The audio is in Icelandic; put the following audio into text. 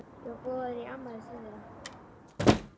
Ég var boðin í afmæli til þeirra.